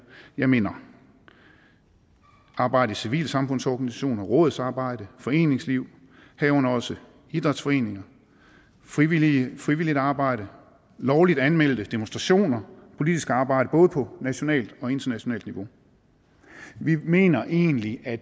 jeg mener arbejde i civilsamfundsorganisationer rådsarbejde foreningsliv herunder også idrætsforeninger frivilligt frivilligt arbejde lovligt anmeldte demonstrationer politisk arbejde både på nationalt og internationalt niveau vi mener egentlig at